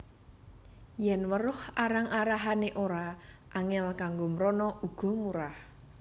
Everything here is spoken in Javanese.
Yèn weruh arah arahané ora angèl kanggo mrana uga murah